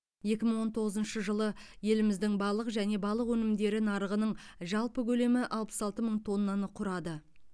екі мың он тоғызыншы жылы еліміздің балық және балық өнімдері нарығының жалпы көлемі алпыс алты мың тоннаны құрады